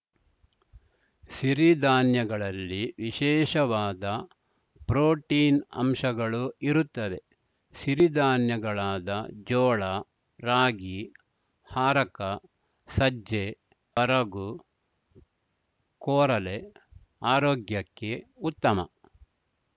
ಸಿರಿದಾನ್ಯಗಳಲ್ಲಿ ವಿಶೇಷವಾದ ಪ್ರೋಟಿನ್‌ ಅಂಶಗಳು ಇರುತ್ತವೆ ಸಿರಿದಾನ್ಯಗಳಾದ ಜೋಳ ರಾಗಿ ಹಾರಕ ಸಜ್ಜೆ ಬರಗು ಕೊರಲೆ ಆರೋಗ್ಯಕ್ಕೆ ಉತ್ತಮ